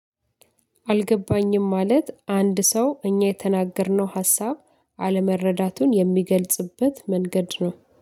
አልገባኝም ማለት አንድ ሰው እኛ የተናገርነው ሀሳብ አለመረዳቱን የሚገልጽበት መንገድ ነው።